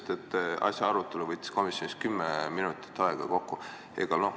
Te ütlesite, et asja arutelu võttis komisjonis kokku 10 minutit aega.